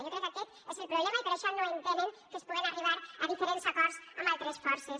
jo crec que aquest és el problema i per això no entenen que es puga arribar a diferents acords amb altres forces